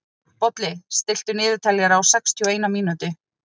Bolli, stilltu niðurteljara á sextíu og eina mínútur.